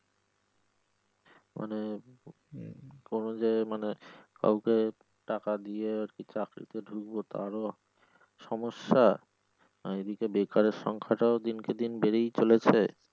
মানে উম কোন জায়গায় মানে কাউকে টাকা দিয়ে চকরিতে ঢুকবো তারও সমস্যা আর এইদিকে বেকারের সংখ্যা টাও দিনকে দিন বেড়েই চলেছে।